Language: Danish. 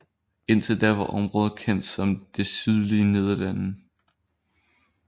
Indtil da var området kendt som de sydlige Nederlande